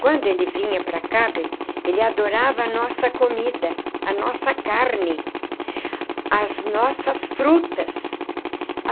Quando ele vinha para cá, bem, ele adorava a nossa comida, a nossa carne, as nossas frutas.